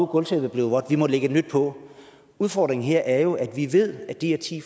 gulvtæppet blevet vådt vi må lægge et nyt på udfordringen her er jo at vi ved at de her ti